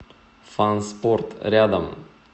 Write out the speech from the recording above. фанспорт рядом